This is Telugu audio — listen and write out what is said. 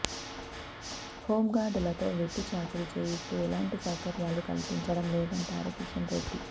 హోంగార్డులతో వెట్టి చాకిరీ చేయిస్తూ ఎలాంటి సౌకర్యాలు కల్పించడం లేదంటారు కిషన్ రెడ్డి